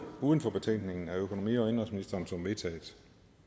uden for betænkningen af økonomi og indenrigsministeren som vedtaget